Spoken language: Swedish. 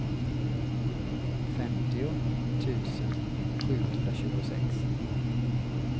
femtio tusen sjuhundratjugosex